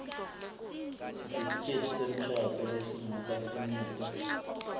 sitifiketi semshado lesingakafinyetwa